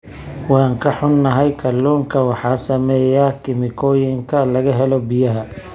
Waan ka xunnahay, kalluunka waxaa saameeya kiimikooyinka laga helo biyaha.